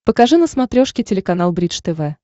покажи на смотрешке телеканал бридж тв